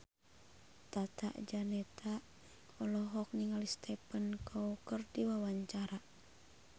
Tata Janeta olohok ningali Stephen Chow keur diwawancara